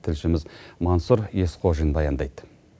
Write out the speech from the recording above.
тілшіміз мансұр есқожин баяндайды